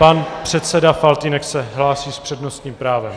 Pan předseda Faltýnek se hlásí s přednostním právem.